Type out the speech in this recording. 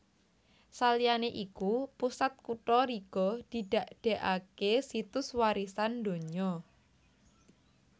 Saliyané iku Pusat Kutha Riga didadèkaké Situs Warisan Donya